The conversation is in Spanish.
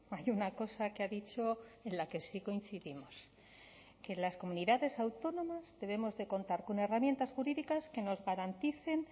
hay una cosa que ha dicho en la que sí coincidimos que las comunidades autónomas debemos de contar con herramientas jurídicas que nos garanticen